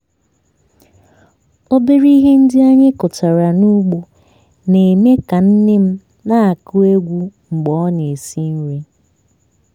obere ihe ndị anyị kụtara n'ugbo na-eme ka nne m na-agụ egwu mgbe ọ na-esi nri.